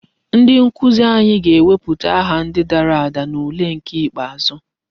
Ndi nkuzi anyị ga-ewepụta aha ndi dara ada n'ule nke ikpeazụ.